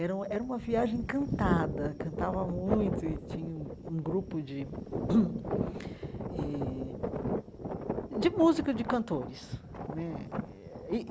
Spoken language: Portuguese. Era uma era uma viagem cantada, cantava muito e tinha um um grupo de eh de música de cantores né e.